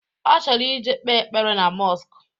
Ọ chọrọ ije kpe ekpere na mọsk